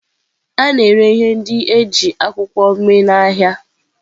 A na-ere ihe ndị e ji akwụkwọ mee n'ahịa.